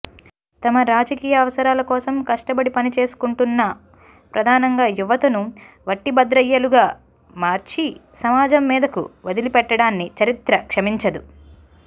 తమ రాజకీయ అవసరాల కోసం కష్టపడి పనిచేసుకుంటున్న ప్రధానంగా యువతను వట్టిభద్రయ్యలుగా మార్చి సమాజం మీదకు వదిలిపెట్టడాన్ని చరిత్ర క్షమించదు